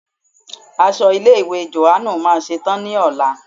Aṣọ ilé ìwé Jòhánù máa ṣe tán ní ọ̀la.